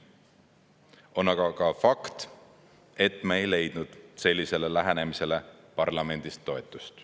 On aga fakt, et me ei leidnud sellisele lähenemisele parlamendis toetust.